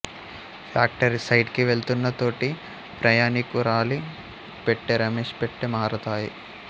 factory site కి వెళ్తున్న తోటి ప్రయాణికురాలి పెట్టె రమేష్ పెట్టె మారతాయి